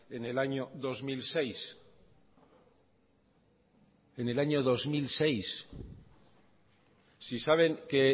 en el año dos mil seis en el año dos mil seis si saben que